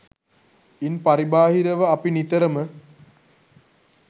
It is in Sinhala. ඉන් පරිබාහිරව අපි නිතරම